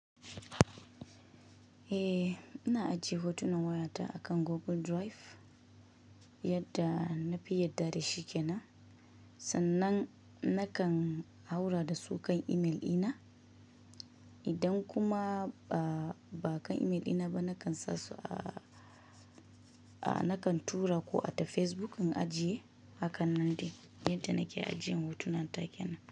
Eh, ina ajiye hotunan wayata akan Google Drive, yadda nafi yadda dashi kenan. Sannan nakan haura dasu kan email dina. Idan kuma ba kan email dina ba, nakan sasu a, nakan tura ko ata Facebook in ajiye. Hakan nan dai yadda nake ajiyan hotunan take nan.